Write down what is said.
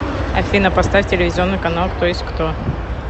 афина поставь телевизионный канал кто есть кто